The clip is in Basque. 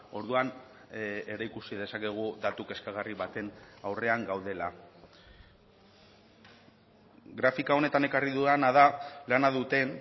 orduan ere ikusi dezakegu datu kezkagarri baten aurrean gaudela grafika honetan ekarri dudana da lana duten